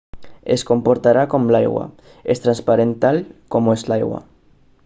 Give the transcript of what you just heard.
es comportarà com l'aigua és transparent tal com ho és l'aigua